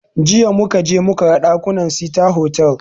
Jiya muka je muka gan ɗakunan sita hotal